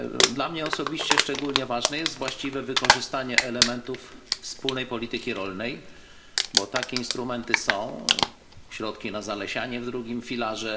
Dla mnie osobiście szczególnie ważne jest właściwe wykorzystanie elementów wspólnej polityki rolnej, bo takie instrumenty są środki na zalesianie w drugim filarze.